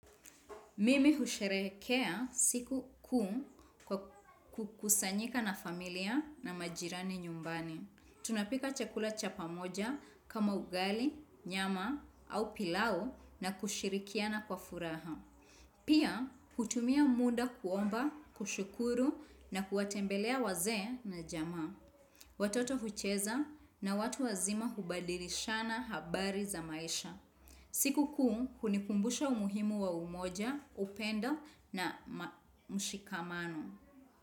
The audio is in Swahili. Mimi husherehekea siku kuu kwa kukusanyika na familia na majirani nyumbani. Tunapika chakula cha pamoja kama ugali, nyama au pilau na kushirikiana kwa furaha. Pia hutumia muda kuomba, kushukuru na kuwatembelea wazee na jamaa. Watoto hucheza na watu wazima hubadilishana habari za maisha. Sikukuu hunikumbusha umuhimu wa umoja, upendo na mshikamano.